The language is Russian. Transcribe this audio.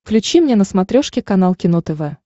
включи мне на смотрешке канал кино тв